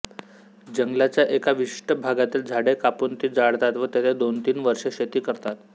जंगलाच्या एका विशिष्ट भागातील झाडे कापून ती जाळतात व तेथे दोनतीन वर्षे शेती करतात